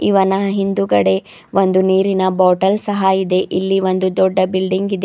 ಇವನ ಹಿಂದುಗಡೆ ಒಂದು ನೀರಿನ ಬಾಟಲ್ ಸಹ ಇದೆ ಇಲ್ಲಿ ಒಂದು ದೊಡ್ಡ ಬಿಲ್ಡಿಂಗ್ ಇದೆ.